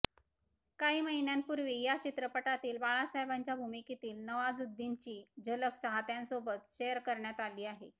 काही महिन्यांपूर्वी या चित्रपटातील बाळासाहेबांच्या भूमिकेतील नवाझुद्दीनची झलक चाहत्यांसोबत शेअर करण्यात आली आहे